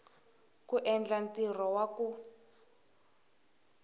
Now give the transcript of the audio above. ku endla ntirho wa ku